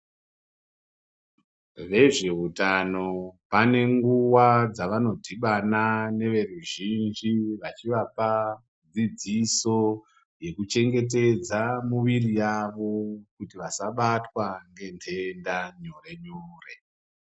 Vezveutano vanenguwa dzavadhibana ne veruzhinji vachivapa dzidziso yekuchengetedza muviri yavo kuti vasabatwa ngenhenda nyore nyore.